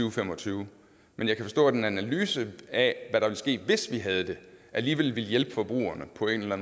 og fem og tyve men jeg kan forstå at en analyse af hvad der ville ske hvis vi havde det alligevel vil hjælpe forbrugerne på en eller